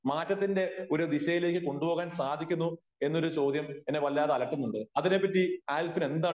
മാറ്റത്തിന്റെ ഒരു ദിശയിലേക്ക് കൊണ്ട് പോകാൻ സാധിക്കുന്നു എന്നൊരു ചോദ്യം എന്നെ വല്ലാതെ അലട്ടുന്നുണ്ട് . അതിനെ പറ്റി ആൽഫിന് എന്താണ്